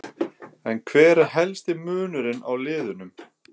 En hver er helsti munurinn á liðunum?